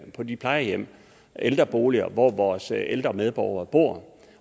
på de plejehjem og ældreboliger hvor vores ældre medborgere bor